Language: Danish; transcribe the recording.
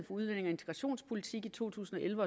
udlændinge og integrationspolitik i to tusind og elleve